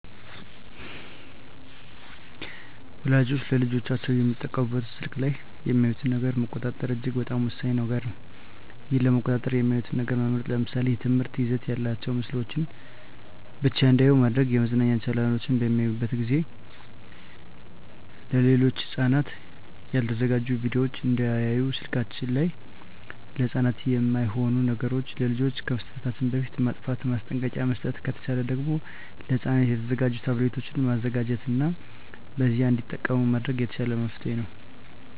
ወላጆች ለልጆቻቸው የሚጠቀሙበት ስልክ ላይ የሚያዩትን ነገር መቆጣጠር እጅግ በጣም ወሳኝ ነገር ነው ይህን ለመቆጣጠር የሚያዩትን ነገር መምረጥ ለምሳሌ የትምህርት ይዘት ያላቸውን ምስሎችን ብቻ እንዲያዩ ማድረግ የመዝናኛ ቻናሎችን በሚያዩበት ጊዜ ሌሎች ለህፃናት ያልተዘጋጁ ቪዲዮወችን እንዳያዩ ስልከችን ላይ ለህፃናት የማይሆኑ ነገሮች ለልጆች ከመስጠታችን በፊት ማጥፍት ማስጠንቀቂያ መስጠት ከተቻለ ደግም ለህፃናት የተዘጋጁ ታብሌቶችን መዘጋጀት እና በዚያ እንዲጠቀሙ ማድረግ የተሻለ መፍትሔ ይሆናል።